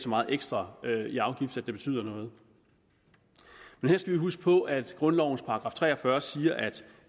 meget ekstra i afgift at det betyder noget her skal vi huske på at grundlovens § tre og fyrre siger at